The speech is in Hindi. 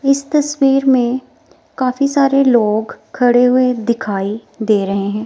इस तस्वीर में काफी सारे लोग खड़े हुए दिखाई दे रहे हैं।